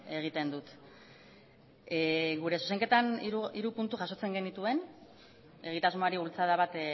egiten dut gure zuzenketan hiru puntu jasotzen genituen egitasmoari bultzada bat